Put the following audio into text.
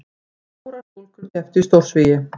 Fjórar stúlkur kepptu í stórsvigi